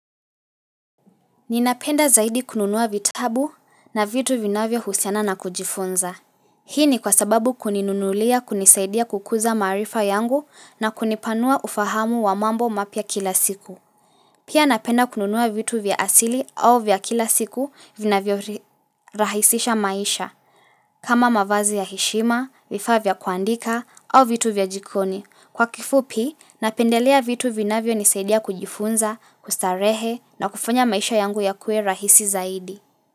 Ninapenda zaidi kununua vitabu na vitu vinavyo husiana na kujifunza. Hii ni kwa sababu kuninunulia kunisaidia kukuza maarifa yangu na kunipanua ufahamu wa mambo mapya kila siku. Pia napenda kununua vitu vya asili au vya kila siku vinavyo rahisisha maisha. Kama mavazi ya heshima, vifaa vya kuandika au vitu vya jikoni. Kwa kifupi, napendelea vitu vinavyo nisaidia kujifunza, kustarehe na kufanya maisha yangu ya kuwe rahisi zaidi.